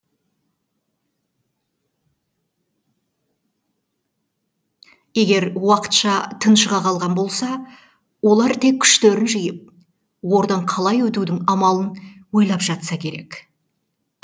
егер уақытша тыншыға қалған болса олар тек күштерін жиып ордан қалай өтудің амалын ойлап жатса керек